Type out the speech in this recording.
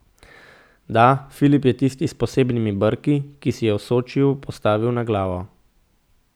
Da, Filip je tisti s posebnimi brki, ki se je v Sočiju postavil na glavo.